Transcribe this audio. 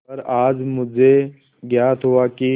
पर आज मुझे ज्ञात हुआ कि